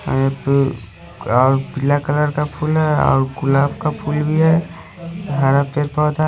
एक अ पीला कलर का फूल है और गुलाब का फूल भी है यहाँ पे पौधा--